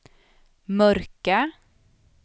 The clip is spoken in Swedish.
mörka